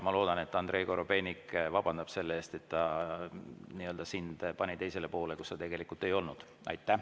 Ma loodan, et Andrei Korobeinik vabandab selle eest, et ta nii‑öelda pani sind teisele poole, kus sa tegelikult ei olnud.